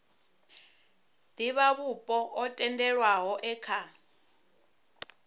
divhavhupo o tendelwaho e kha